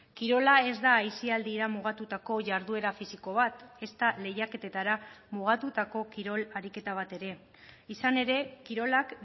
kirola ez da aisialdia mugatutako jarduera fisiko bat ezta lehiaketetara mugatutako kirol ariketa bat ere izan ere kirolak